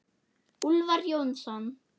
Úlfar Jónsson